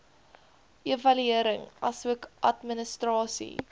evaluering asook administrasie